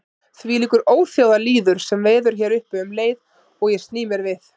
Þvílíkur óþjóðalýður sem veður hér uppi um leið og ég sný mér við.